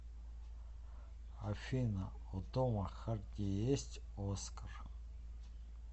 афина у тома харди есть оскар